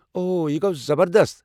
اوہ، یہِ گوٚو زبردست!